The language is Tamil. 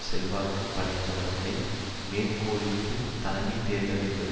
செல்வாக்கு படைத்தவர்களை மேற்கோளிட்டு தலைமை தேர்தல் என்பது